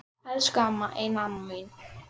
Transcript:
Elsku amma, eina amma mín.